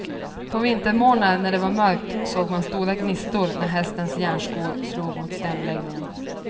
På vintermorgnar när det var mörkt såg man stora gnistor, när hästens järnskor slog mot stenbeläggninegn.